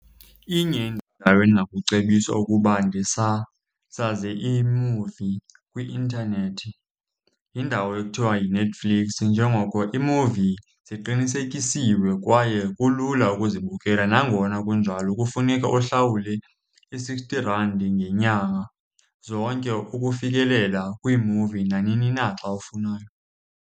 Inye indawo endingakucebisa ukuba ndisasaze iimuvi kwi-intanethi yindawo ekuthiwa yiNetflix, njengoko iimuvi ziqinisekisiwe kwaye kulula ukuzibukela. Nangona kunjalo, kufuneka uhlawule i-sixty rand ngeenyanga zonke ukufikelela kwiimuvi nanini na xa ufunayo.